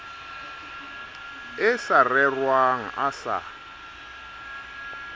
e sa rerwang a sa